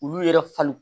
Olu yɛrɛ fali